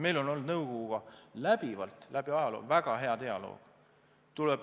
Meil on olnud nõukoguga läbivalt ajaloo jooksul väga hea dialoog.